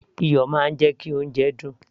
iyọ̀ máa ń jẹ́ kí oúnjẹ dùn